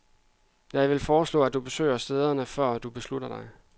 Jeg vil foreslå, at du besøger stederne, før du beslutter dig.